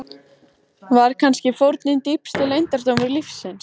Var kannski fórnin dýpsti leyndardómur lífsins?